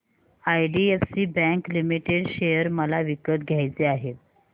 IDFC bank limited share मला विकत घ्यायचे आहेत